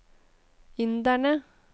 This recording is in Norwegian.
inderne